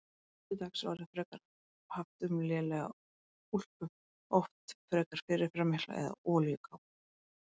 Nú til dags er orðið frekar haft um lélega úlpu, oft frekar fyrirferðarmikla, eða olíukápu.